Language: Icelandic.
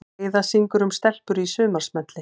Heiða syngur um stelpur í sumarsmelli